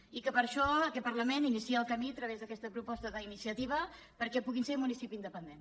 i per això aquest parlament inicia el camí a través d’aquesta proposta d’iniciativa perquè puguin ser municipi independent